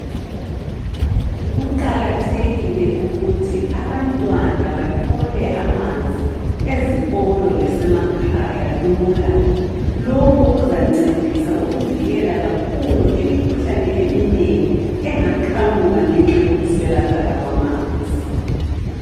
Kuqakathekile ukuthi abantwana bathole amanzi ezikolo lasemakhaya lula. Lokhu kuzancedisa ukuvikela kakhulu imikhuhlane eminengi engaqhamuka ngenxa yokuswelakala kwamanzi.